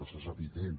això és evident